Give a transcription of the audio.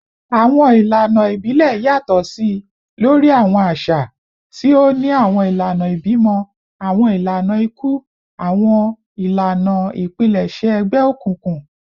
Awọn ilana ibilẹ yatọ si lori awọn aṣa, ti o ni awọn ilana ibimọ, awọn ilana iku, ati awọn ilana ipilẹṣẹ egbeokunkun